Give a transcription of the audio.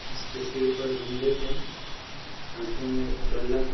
इसके सिर पर हेमलेट है हाथों में बल्ला है |